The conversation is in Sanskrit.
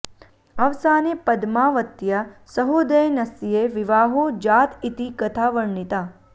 अवसाने पद्मावत्या सहोदयनस्य विवाहो जात इति कथा वर्णिता